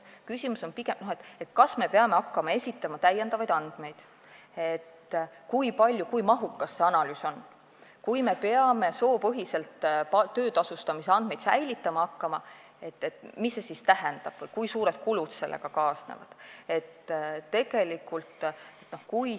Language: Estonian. Ettevõtjate mure oli pigem selles, kas nad peavad hakkama esitama lisaandmeid, kui mahukas see analüüs on, kui peab soopõhiselt töötasustamise andmeid säilitama hakkama, mis see siis tähendab või kui suured kulud sellega kaasnevad.